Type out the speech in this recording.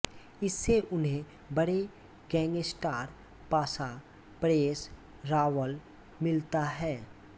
इससे उन्हें बड़े गैंगस्टर पाशा परेश रावल मिलता है